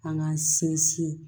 An k'an sinsin